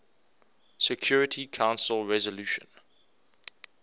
security council resolution